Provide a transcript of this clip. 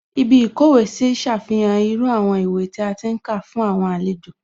Ibí ìkówèé sí ṣàfihàn irú àwọn ìwé tí a ti ń kà fún àwọn àlejò